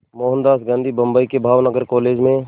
मोहनदास गांधी बम्बई के भावनगर कॉलेज में